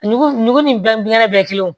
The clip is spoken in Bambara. Nugu nugu ni kɛnɛ bɛɛ ye kelen wo